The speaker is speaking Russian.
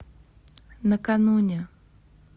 накануне